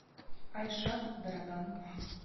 айшат дарадан